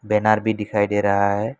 Banner भी दिखाई दे रहा है।